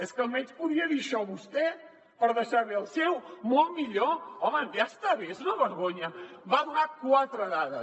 és que almenys podria dir això vostè per deixar bé el seu molt millor home ja està bé és una vergonya va donar quatre dades